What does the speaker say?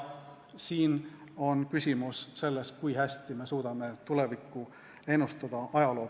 Siin on küsimus selles, kui hästi me suudame ajaloo põhjal tulevikku ennustada.